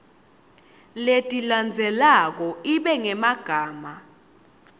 letilandzelako ibe ngemagama